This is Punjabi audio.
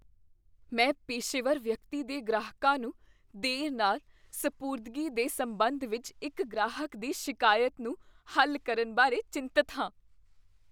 ਮੈਂ ਪੇਸ਼ੇਵਰ ਵਿਅਕਤੀ ਦੇ ਗ੍ਰਾਹਕਾਂ ਨੂੰ ਦੇਰ ਨਾਲ ਸਪੁਰਦਗੀ ਦੇ ਸਬੰਧ ਵਿੱਚ ਇੱਕ ਗ੍ਰਾਹਕ ਦੀ ਸ਼ਿਕਾਇਤ ਨੂੰ ਹੱਲ ਕਰਨ ਬਾਰੇ ਚਿੰਤਤ ਹਾਂ।